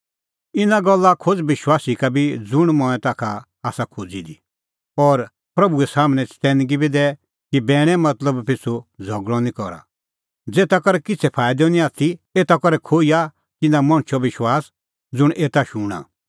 इना गल्ला खोज़ विश्वासी का भीभी ज़ुंण मंऐं ताखा आसा खोज़ी दी और प्रभूए सम्हनै चतैनगी बी दै कि बैणे मतलब पिछ़ू झ़गल़अ निं करा ज़ेता करै किछ़ै फाईदअ पर एता करै खोईआ तिन्नां मणछो विश्वास ज़ुंण एता शूणां